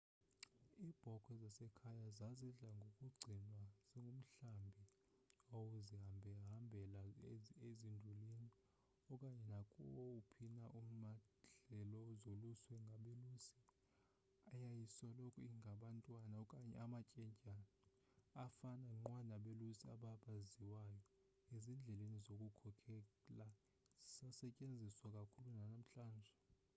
iibhokhwe zasekhaya zazidla ngokugcinwa zingumhlambi owawuzihambahambela ezindulini okanye nakuwaphi na amadlelo zoluswe ngabelusi eyayisoloko ingabantwana okanye amatyendyana afana nqwa nabelusi aba baziwayo ezindlela zokukhokhela zisasetyetziswa kakhulu nanamhlanje